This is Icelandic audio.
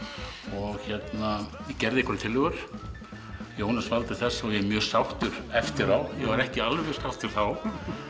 ég gerði nokkrar tillögur Jónas valdi þessa og ég er mjög sáttur eftir á ég var ekki alveg jafn sáttur þá